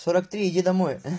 сорок три иди домой